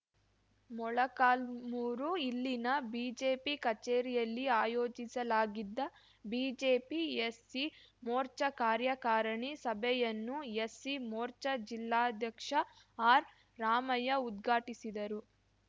ಮೊಳಕಾಲ್ಮುರು ಇಲ್ಲಿನ ಬಿಜೆಪಿ ಕಚೇರಿಯಲ್ಲಿ ಆಯೋಜಿಸಲಾಗಿದ್ದ ಬಿಜೆಪಿ ಎಸ್‌ಸಿಮೋರ್ಚ ಕಾರ್ಯಕಾರಣಿ ಸಭೆಯನ್ನು ಎಸ್‌ಸಿಮೋರ್ಚ ಜಿಲ್ಲಾಧ್ಯಕ್ಷ ಆರ್‌ರಾಮಯ್ಯಉದ್ಘಾಟಿಸಿದರು